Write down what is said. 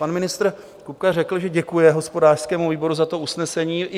Pan ministr Kupka řekl, že děkuje hospodářskému výboru za to usnesení.